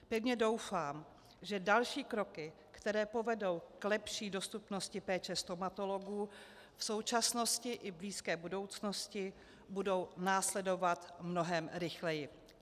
Pevně doufám, že další kroky, které povedou k lepší dostupnosti péče stomatologů v současnosti i blízké budoucnosti, budou následovat mnohem rychleji.